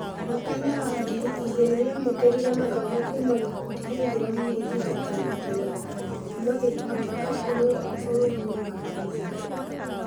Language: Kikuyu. Mwakai-nĩ wa ngiri igĩrĩ nĩamũkĩrire mathomo kuma gĩkundi gĩithĩramu gũthingata wendi wa Ngai. Kuma gĩkundi akoru bũrũri-nĩ wa Tanzania.